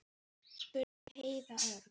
spurði Heiða örg.